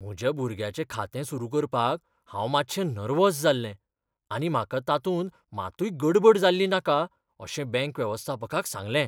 म्हज्या भुरग्याचें खातें सुरू करपाक हांव मातशें नेर्वोझ जाल्लें आनी म्हाका तातूंत मातूय गडबड जाल्ली नाका अशें बँक वेवस्थापकाक सांगलें.